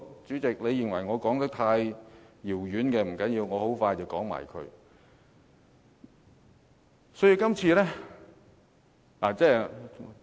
主席，你認為我說得太遙遠，不要緊，我很快便完結。